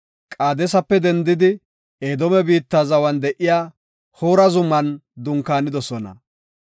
Qaadesape dendidi Edoome biitta zawan de7iya Hoora zuman dunkaanidosona.